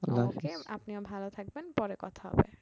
আপনিও ভালো থাকবেন পরে কথা হবে